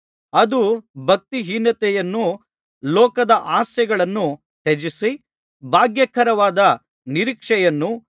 ಅದು ಭಕ್ತಿಹೀನತೆಯನ್ನೂ ಲೋಕದ ಆಸೆಗಳನ್ನೂ ತ್ಯಜಿಸಿ ಭಾಗ್ಯಕರವಾದ ನಿರೀಕ್ಷೆಯನ್ನು